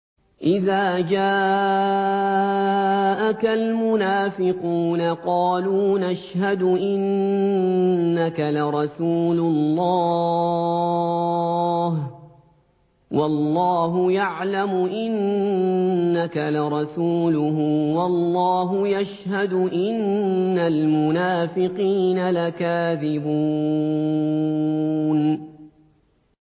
إِذَا جَاءَكَ الْمُنَافِقُونَ قَالُوا نَشْهَدُ إِنَّكَ لَرَسُولُ اللَّهِ ۗ وَاللَّهُ يَعْلَمُ إِنَّكَ لَرَسُولُهُ وَاللَّهُ يَشْهَدُ إِنَّ الْمُنَافِقِينَ لَكَاذِبُونَ